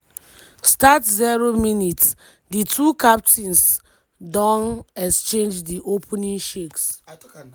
start 0 mins- di two captains don exchange di opening shakes.